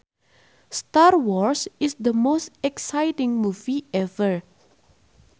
Star Wars is the most exciting movie ever